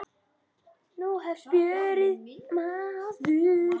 Nú hefst fjörið, maður.